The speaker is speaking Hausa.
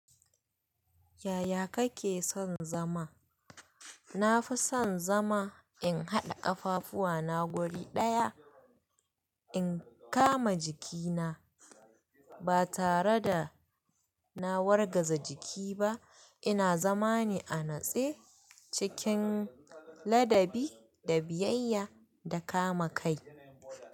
Yaya kake son zama? Na fi son zama in haɗa ƙafafu na guri ɗaya, in kama jiki na ba tare da na wargaza jiki ba. Ina zama ne a natse cikin ladabi da biyayya da kama kai.